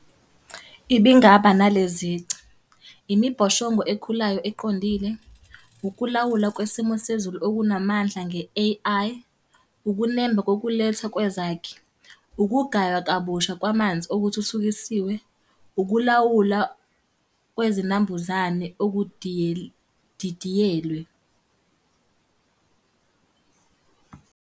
Ibingaba nale zici. Imibhoshongo ekhulayo eqondile. Ukulawula kwesimo sezulu okunamandla nge-A_I. Ukunemba kokuletha kwezakhi. Ukugaywa kabusha kwamanzi okuthuthukisiwe. Ukulawula kwezinambuzane okudidiyelwe.